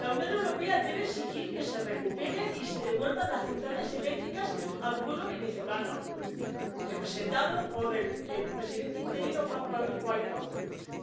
La Unión Europea debe exigir que se recuperen y se devuelvan las centrales eléctricas al pueblo venezolano, representado por el presidente interino Juan Guaidó,